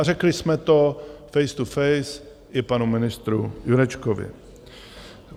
A řekli jsme to face to face i panu ministru Jurečkovi.